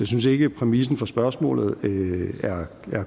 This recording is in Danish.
synes ikke præmissen for spørgsmålet er